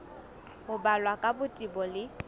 ho balwa ka botebo le